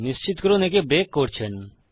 নিশ্চিত করুন যে একে ব্রেক করছেন